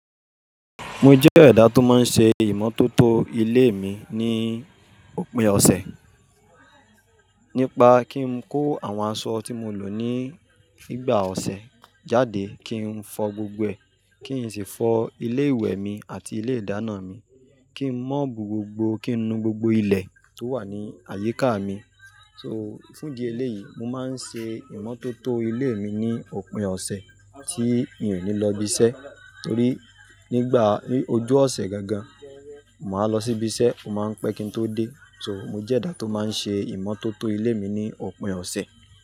Mo jẹ́ ẹ̀dá tó máa ń ṣe ìmọ́tótó ilé mi ní òpin ọ̀sẹ̀. Nípa kí n kó àwọn aṣọ tí mo lò ní fígbà ọ̀sẹ̀ jáde, kí n fọ gbogbo ẹ̀, kí n sì fọ ilé ìwẹ̀ mi àti ilé ìdáná mi, kí n mọ̀bù gbogbo, kí n nu gbogbo ilẹ̀ tó wà ní àyíká mi. So, fún di eléyìí, mo máa ń ṣe ìmọ́tótó ilé mi ní òpin ọ̀sẹ̀ tí mi ò ní lọ ibi iṣẹ́ torí nígbà ni ojú ọ̀sẹ̀ gangan, màá lọ sí ibi iṣẹ́, ó máa ń pẹ́ kí n tó dé. So, mo jẹ́ ẹ̀dá tó máa ń ṣe ìmọ́tótó ilé mi ní òpin ọ̀sẹ̀